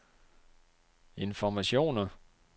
informationer